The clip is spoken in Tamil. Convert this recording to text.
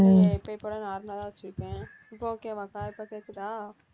இல்லையே, எப்பயும் போல normal ஆ தான் வச்சிருக்கேன் இப்ப okay வா அக்கா இப்ப கேட்குதா?